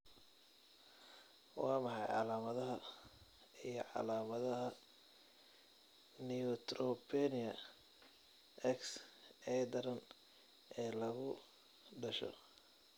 Waa maxay calaamadaha iyo calaamadaha Neutropenia X ee daran ee lagu dhasho?